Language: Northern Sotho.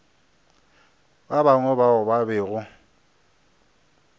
ba bangwe bao ba bego